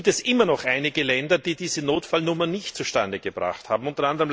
Nun gibt es immer noch einige Länder, die diese Notfallnummer nicht zustande gebracht haben, u.